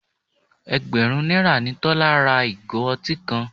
Ẹgbẹ̀rún náírà ni Tọ́lá ra ìgò ọtí kan.